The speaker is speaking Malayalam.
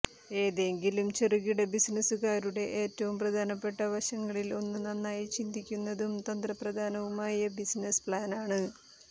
ഏതെങ്കിലും ചെറുകിട ബിസിനസുകാരുടെ ഏറ്റവും പ്രധാനപ്പെട്ട വശങ്ങളിൽ ഒന്ന് നന്നായി ചിന്തിക്കുന്നതും തന്ത്രപ്രധാനവുമായ ബിസിനസ് പ്ലാനാണ്